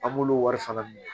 An b'olu wari fana minɛ